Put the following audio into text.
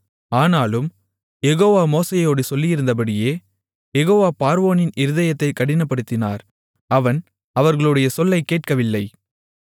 ஆனாலும் யெகோவா மோசேயோடு சொல்லியிருந்தபடியே யெகோவா பார்வோனின் இருதயத்தைக் கடினப்படுத்தினார் அவன் அவர்களுடைய சொல்லைக் கேட்கவில்லை